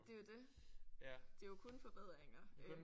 Det er jo det. Det er jo kun forbedringer